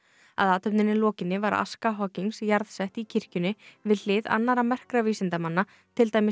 að athöfninni lokinni var aska jarðsett í kirkjunni við hlið annarra merkra vísindamanna til dæmis